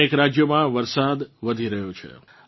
અનેક રાજ્યોમાં વરસાદ વધી રહ્યો છે